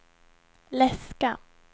läska